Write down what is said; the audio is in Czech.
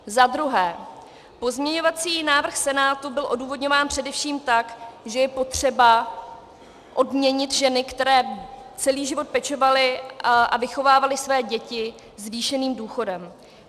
Pozměňovací návrh Senátu byl odůvodňován především tak, že je potřeba odměnit ženy, které celý život pečovaly a vychovávaly své děti, zvýšeným důchodem.